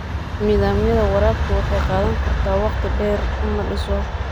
Nidaamyada waraabka waxay qaadan kartaa waqti dheer in la dhiso.